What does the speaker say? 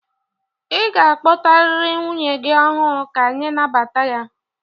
Ị ga-akpọtarịrị nwunye gị ọhụụ ka anyị nabata ya!